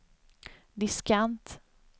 diskant